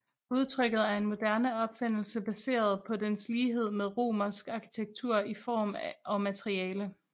Udtrykket er en moderne opfindelse baseret på dens lighed med romersk arkitektur i form og materiale